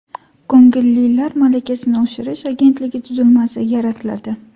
Ko‘ngillilar malakasini oshirish agentligi tuzilmasi yaratiladi.